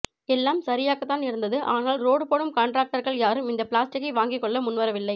எல்லாம் சரியாகத்தான் இருந்தது ஆனால் ரோடு போடும் கான்டிராக்டர்கள் யாரும் இந்த பிளாஸ்டிக்கை வாங்கிக் கொள்ள முன்வரவில்லை